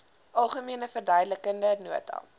algemene verduidelikende nota